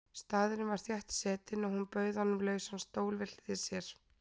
Staðurinn var þéttsetinn og hún bauð honum lausan stól við hlið sér.